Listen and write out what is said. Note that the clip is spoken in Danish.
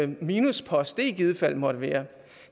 minuspost det i givet fald måtte være